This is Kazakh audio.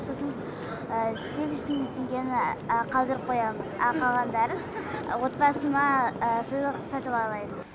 сосын сегіз жүз мың теңгені қалдырып қоямын ал қалғанына отбасыма сыйлық сатып алайын